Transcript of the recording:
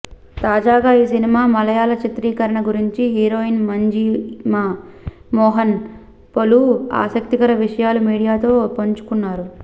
తాజాగా ఈ సినిమా మలయాళ చిత్రీకరణ గురించి హీరోయిన్ మంజిమా మోహన్ పలు ఆసక్తికర విషయాలు మీడియాతో పంచుకున్నారు